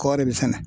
Kɔɔri bɛ sɛnɛ